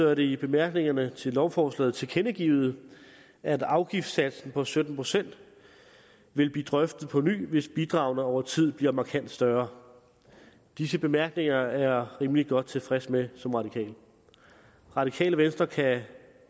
er det i bemærkningerne til lovforslaget tilkendegivet at afgiftssatsen på sytten procent vil blive drøftet på ny hvis bidragene over tid bliver markant større disse bemærkninger er rimelig godt tilfreds med radikale venstre kan